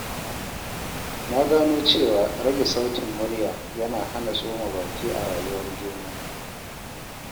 Na gano cewa rage sautin murya yana hana tsoma baki a rayuwar juna.